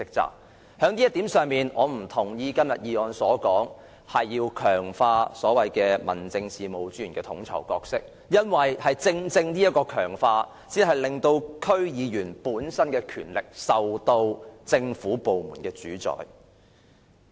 就這一點，我不贊同今天的議案中強化民政事務專員的統籌角色的建議，因為正正是這種強化，令區議員的權力受政府部門主宰。